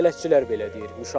Bələdçilər belə deyir.